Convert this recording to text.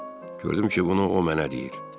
Gördüm ki, bunu o nə eləyir.